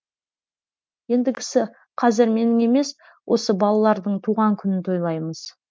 ендігісі қазір менің емес осы балалардың туған күнін тойлаймыз